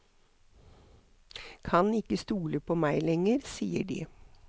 Kan ikke stole på meg lenger, sier de.